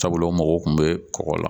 Sabula u mago kun be kɔkɔ la